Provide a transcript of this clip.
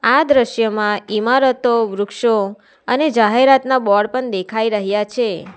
આ દ્રશ્યમાં ઇમારતો વૃક્ષો અને જાહેરાતના બોર્ડ પણ દેખાઈ રહ્યા છે.